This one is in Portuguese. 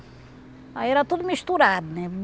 Aí era tudo misturado, né?